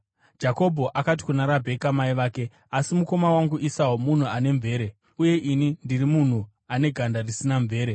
Jakobho akati kuna Rabheka mai vake, “Asi mukoma wangu Esau munhu ane mvere, uye ini ndiri munhu ane ganda risina mvere.